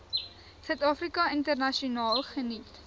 suidafrika internasionaal geniet